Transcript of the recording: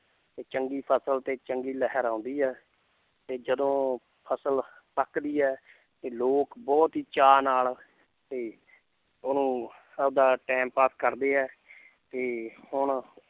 ਤੇ ਚੰਗੀ ਫਸਲ ਤੇ ਚੰਗੀ ਲਹਿਰਾਉਂਦੀ ਹੈ ਤੇ ਜਦੋਂ ਫਸਲ ਪੱਕਦੀ ਹੈ ਤੇ ਲੋਕ ਬਹੁਤ ਹੀ ਚਾਅ ਨਾਲ ਤੇ ਉਹਨੂੰ ਆਪਦਾ time ਪਾਸ ਕਰਦੇ ਹੈ ਤੇ ਹੁਣ